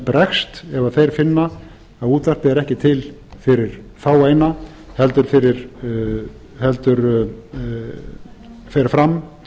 bregst ef þeir finna að útvarpið er ekki til fyrir fáeina heldur fer fram